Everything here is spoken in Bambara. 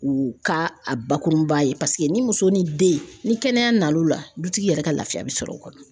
U ka a bakurunba ye paseke ni muso ni den ni kɛnɛya na o la dutigi yɛrɛ ka laafiya bɛ sɔrɔ o kɔnɔ.